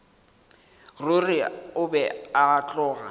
ruri o be a tloga